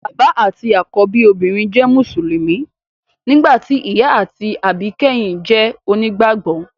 Bàbá àti àkọ́bí obìnrin jẹ́ mùsùlùmí, nígbà tí ìyá àti àbíkẹ́yìn jẹ́ onígbàgbọ́